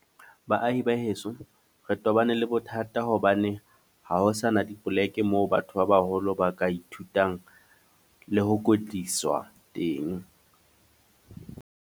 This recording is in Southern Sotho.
Baahi ba heso, re tobane le bothata hobane ha ho sana dipoleke moo batho ba baholo ba ka ithutang le ho kwetliswa teng.